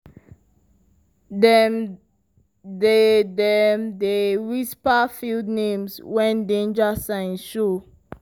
dem dey dem dey whisper field names when danger signs show.